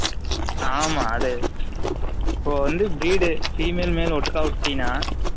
ஆமா அது இப்ப வந்து breed female male ஒட்டுக்கா விட்டினா